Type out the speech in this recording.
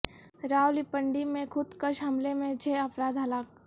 راولپنڈی میں خود کش حملے میں چھ افراد ہلاک